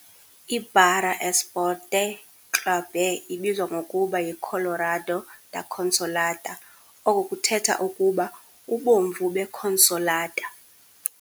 I-Baré Esporte Clube ibizwa ngokuba yiColorado da Consolata, oku kuthetha ukuba "Ubomvu beConsolata".